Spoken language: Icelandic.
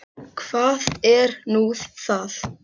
Og hvað er nú það?